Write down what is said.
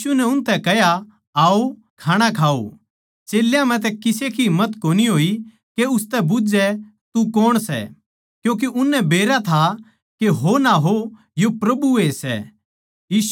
यीशु नै उनतै कह्या आओ खाणा खाओ चेल्यां म्ह तै किसे का ढेठ कोनी होया के उसतै बुझ्झै तू कौण सै क्यूँके उननै बेरा था के हो ना हो यो प्रभु ए सै